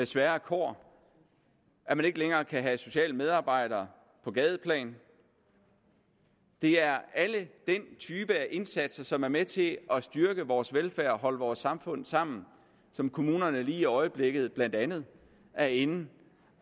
svære kår at man ikke længere kan have sociale medarbejdere på gadeplan det er den type af indsatser som er med til at styrke vores velfærd og holde vores samfund sammen som kommunerne lige i øjeblikket blandt andet er inde